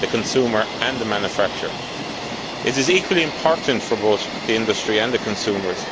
the consumer and the manufacturer. This proposal is equally important for both the industry and the consumers.